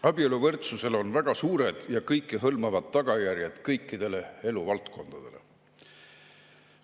Abieluvõrdsusel on väga suured ja kõikehõlmavad tagajärjed kõikidele eluvaldkondadele.